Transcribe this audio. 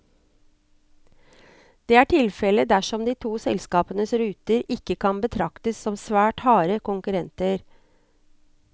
Det er tilfellet dersom de to selskapenes ruter ikke kan betraktes som svært harde konkurrenter.